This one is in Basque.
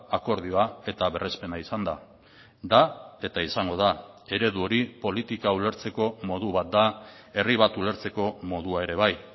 akordioa eta berrespena izan da da eta izango da eredu hori politika ulertzeko modu bat da herri bat ulertzeko modua ere bai